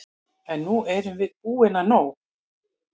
En nú erum við búin að nóg!